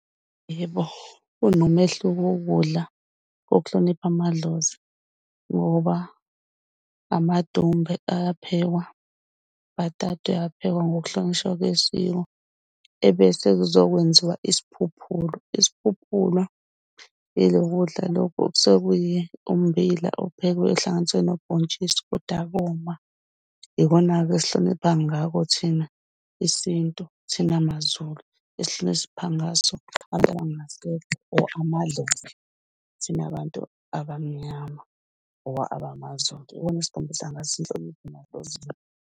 Yebo, kunomehluko wokudla kokuhlonipha amadlozi. Ngoba amadumbe ayaphekwa, ubhatata uysphekwsup ngokuhlonishwa kwesiko. Ebese kuzokwenziwa isiphuphulo, isiphuphulo ilokhu kudla lokhu okusuke umbila ophekwe ohlanganiswe nobhontshisi Koda koma. Yikhona-ke esihloniphane ngakho thina isintu, thina maZulu esihlonipha ngaso abantu abangasekho or amadlozi thina bantu abamnyama or abamaZulu. Yikhona esikhombisa ngakho inhlonipho lapho